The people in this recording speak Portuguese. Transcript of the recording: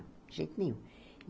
De jeito nenhum.